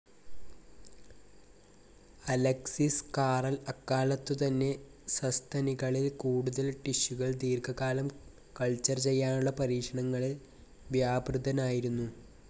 Alexis Carrel അക്കാലത്തുതന്നെ സസ്തനികളിൽ കൂടുതൽ ടിഷ്യുകൾ ദീർഘകാലം കൾച്ചർ ചെയ്യാനുള്ള പരീക്ഷണങ്ങളിൽ വ്യാപൃതനായിരുന്നു.